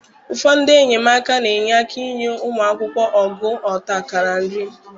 Ụfọdụ ndị enyemaka na-enye aka enye ụmụ akwụkwọ ogo ọta akara nri.